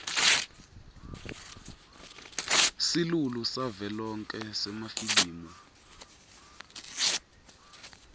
silulu savelonkhe semafilimu